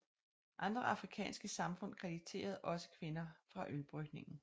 Andre afrikanske samfund krediterede også kvinder for ølbrygningen